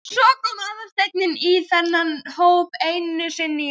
Svo kom Aðalsteinn í þennan hóp einu sinni í viku.